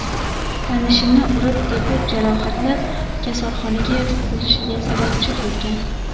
tanishini urib-tepib jarohatlab, kasalxonaga yotqizilishiga sababchi bo‘lgan.